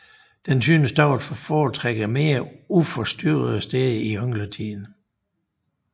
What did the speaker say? Den synes dog at foretrække mere uforstyrrede steder i yngletiden